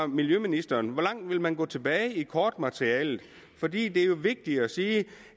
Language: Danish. miljøministeren hvor langt vil man gå tilbage i kortmaterialet for det er jo vigtigt at sige